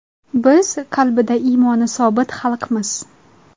Biz qalbida iymoni sobit xalqmiz.